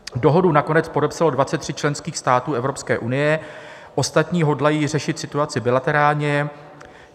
Dohodu nakonec podepsalo 23 členských států Evropské unie, ostatní hodlají řešit situaci bilaterálně.